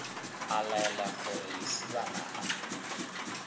a laela gore lesibana a